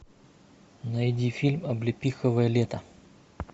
найди фильм облепиховое лето